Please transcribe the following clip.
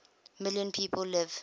million people live